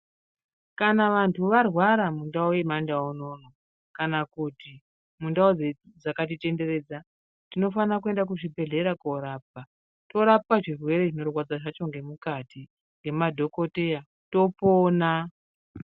Kana vantu varwara mundau yemandau unono, kana kuti mundau dze dzakatitenderedza tinofana kuenda kuzvibhedhlera korapwa. Torapwa zvirwere zvinorwadza zvacho zvemukati ngemadhokoteya topona.